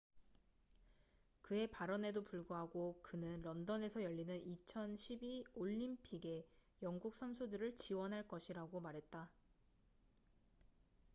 그의 발언에도 불구하고 그는 런던에서 열리는 2012 올림픽에 영국 선수들을 지원할 것이라고 말했다